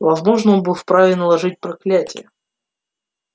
возможно он был вправе наложить проклятие